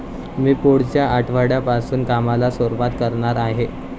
मी पुढच्या आठवड्यापासून कामाला सुरुवात करणार आहे.